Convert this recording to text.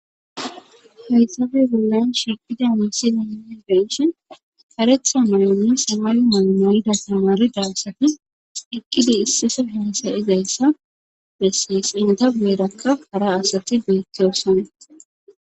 haysabe bollayn shiqida misi nine ga ishin karetha mayanni samayu maamoyida tamari dalsatis iqqidi issisa hesayizayssa bessees inta beerakka hara asati beettiyosana